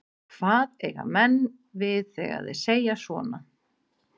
Hvað eiga menn við þegar þeir segja svona?